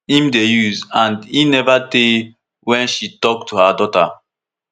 im dey use and e neva tey wey she tok to her daughter